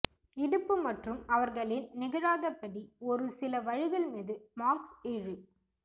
இடுப்பு மற்றும் அவர்களின் நிகழாதபடி ஒரு சில வழிகள் மீது மார்க்ஸ் இழு